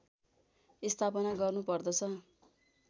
स्थापना गर्नुपर्दछ